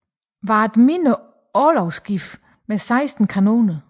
Var et mindre orlogsskib med 16 kanoner